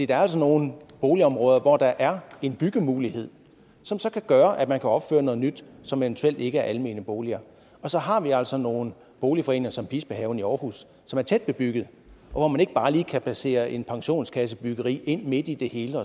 der er altså nogle boligområder hvor der er en byggemulighed som så kan gøre at man kan opføre noget nyt som eventuelt ikke er almene boliger og så har vi altså nogle boligforeninger som bispehaven i aarhus som er tæt bebygget og hvor man ikke bare lige kan placere et pensionskassebyggeri inde midt i det hele